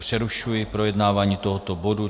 Přerušuji projednávání tohoto bodu.